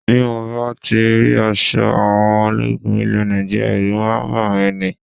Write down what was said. Bí mo bá ti rí aṣọ àwọn ológun ilẹ̀ Nàìjíríà, ẹ̀rù máa ń bà mí ní